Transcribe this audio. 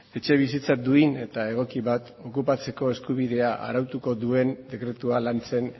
etxebizitza duin eta egoki bat okupatzeko eskubidea arautuko duen dekretua lantzen